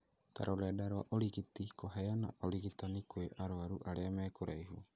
ta rũrenda rwa ũrigiti, kũheana ũrigitani kwa arwaru arĩa me kũraihu.